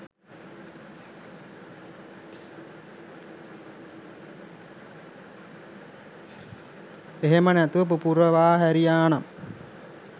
එහෙම නැතිව පුපුරවා හැරියානම්